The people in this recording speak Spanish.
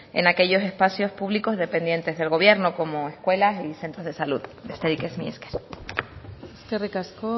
en aquellos espacios públicos dependientes del gobierno como escuelas y centros de salud besterik ez mila esker eskerrik asko